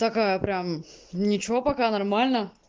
такая прям ничего пока нормально